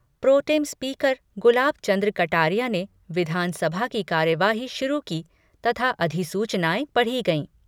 Pro tem speaker Gulab Chand Kataria ने विधानसभा की कार्यवाही शुरू की तथा अधिसूचनाएं पढ़ी गयीं।